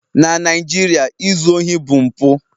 Na Naijiria, izu ohi bụ mpụ